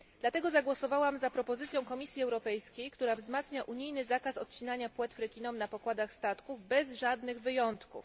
Dlatego zagłosowałam za propozycją Komisji Europejskiej, która wzmacnia unijny zakaz odcinania płetw rekinom na pokładach statków bez żadnych wyjątków.